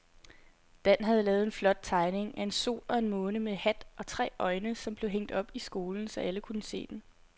Dan havde lavet en flot tegning af en sol og en måne med hat og tre øjne, som blev hængt op i skolen, så alle kunne se den.